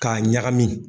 K'a ɲagami